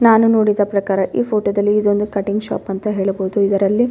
ನಾನು ನೋಡಿದ ಪ್ರಕಾರ ಈ ಫೋಟೋದಲ್ಲಿ ಇದೊಂದು ಕಟ್ಟಿಂಗ್ ಶಾಪ್ ಅಂತ ಹೇಳಬಹುದು ಇದರಲ್ಲಿ--